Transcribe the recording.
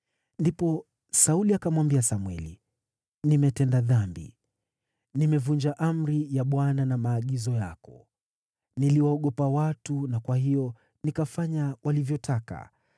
Ndipo Sauli akamwambia Samweli, “Nimetenda dhambi. Nimevunja amri ya Bwana na maagizo yako. Niliwaogopa watu na kwa hiyo nikafanya walivyotaka.